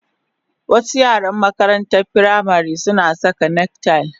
Wasu yaran makarantar firamare suna saka neck tie